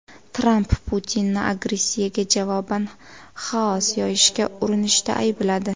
Tramp Putinni agressiyaga javoban xaos yoyishga urinishda aybladi.